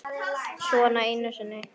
Svona einu sinni?